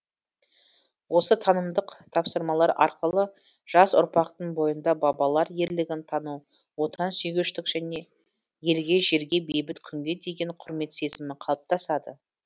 осы танымдық тапсырмалар арқылы жас ұрпақтың бойында бабалар ерлігін тану отансүйгіштік елге жерге бейбіт күнге деген құрмет сезімі қалаптасады